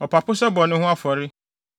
ɔpapo sɛ bɔne ho afɔre;